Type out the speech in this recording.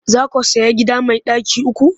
Za ku sayi gida mai ɗaki uku?